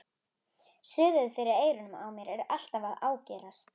Suðið fyrir eyrunum á mér er alltaf að ágerast.